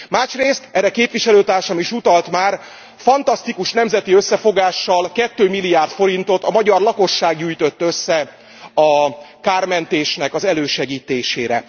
Másrészt erre képviselőtársam is utalt már fantasztikus nemzeti összefogással 2 milliárd forintot a magyar lakosság gyűjtött össze a kármentés elősegítésére.